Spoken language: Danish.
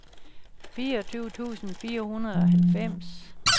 fireogtyve tusind fire hundrede og halvfems